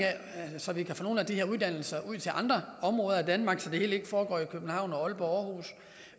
så vi kan få nogle af de her uddannelser ud til andre områder af danmark så det hele ikke foregår i københavn aalborg og aarhus